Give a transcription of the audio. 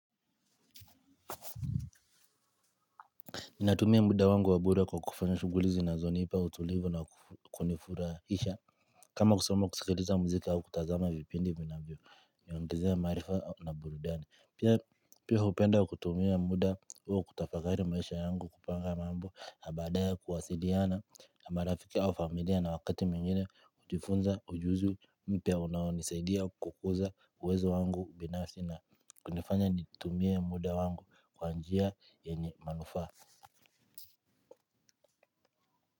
Ninatumia muda wangu wabure kwa kufanya shuguli zinanipa utulivu na kunifurahisha. Kama kusoma kusikiliza muziki au kutazama vipindi vinavyo. Niongezea maarifa au na burudani. Pia hupenda kutumia muda huo kutafakari maisha yangu kupanga mambo. Na badae kuwasidiana na marafiki au familia na wakati mwingine hujifunza ujuzi mpya unawonisaidia kukuza uwezo wangu binasi na kunifanya nitumie muda wangu kwanjia yenye manufa.